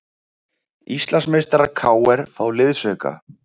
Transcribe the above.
Íslandsmeistarar KR fá liðsauka